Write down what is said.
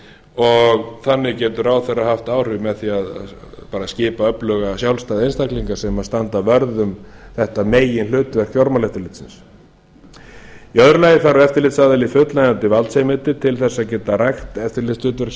og þannig getur ráðherra haft áhrif með því að skipa öfluga sjálfstæða einstaklinga sem standa vörð um þetta meginhlutverk fjármálaeftirlitsins í öðru lagi þarf eftirlitsaðili fullnægjandi valdsheimildir til að geta rækt eftirlitshlutverk